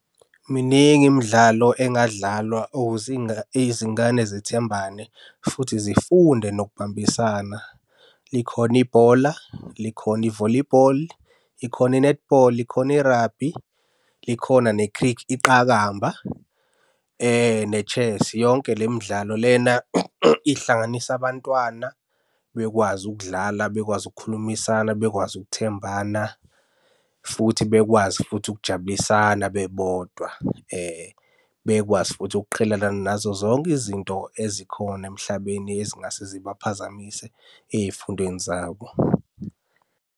Miningi imidlalo engadlalwa ukuze izingane zithembane futhi zifunde nokubambisana. Likhona ibhola, likhona i-volleyball, ikhona i-netball, khona i-rugby, likhona iqakamba, ne-chess. Yonke le midlalo lena ihlanganisa abantwana bekwazi ukudlala, bekwazi ukukhulumisana, bekwazi ukuthembana, futhi bekwazi futhi ukujabulisana bebodwa. Bekwazi futhi ukuqhelelana nazo zonke izinto ezikhona emhlabeni ezingase zibaphazamise ey'fundweni zabo.